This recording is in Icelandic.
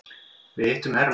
Þar hittum við hermann.